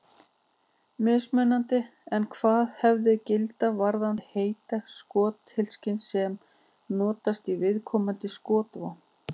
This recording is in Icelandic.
Mismunandi er hvaða hefðir gilda varðandi heiti skothylkisins sem notast í viðkomandi skotvopn.